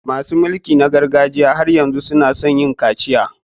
Masu mulki na gargajiya har yanzu su na so yin kaciya.